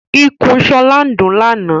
Ikùn Shola ndún làna.